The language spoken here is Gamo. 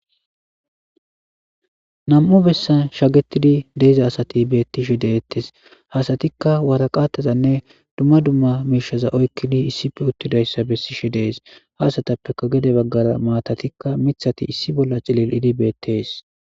Nam'u besan shagetid de'iza asati betishe de'etes , ha asatika waraqatazanne dumma dumma mishaza oykid issipe utidaysa besise de'es.ha asatappeka gede bagara maatataila mauthati issi bolla cilli'id betes.